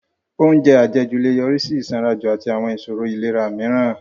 Oúnjẹ àjẹjù lè yọrí sí ìsanranjù àti àwọn ìṣòro ìlera mìíràn